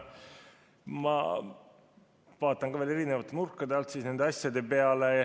Ma vaatan veel erinevate nurkade alt nende asjade peale.